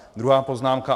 Druhá poznámka.